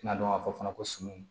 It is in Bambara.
I n'a dɔn ka fɔ fana ko sumana